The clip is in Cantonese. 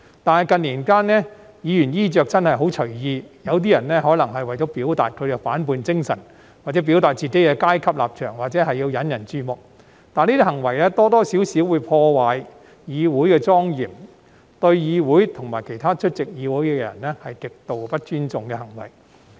但是，近年，議員的衣着真的很隨意，有些人可能為了表達其反叛精神或表達自己的階級立場，或是要引人注目，但這些行為多多少少會破壞議會的莊嚴，對議會及其他出席會議的人是極度不尊重的行為。